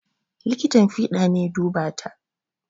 Likitan fiɗa ne ya duba ta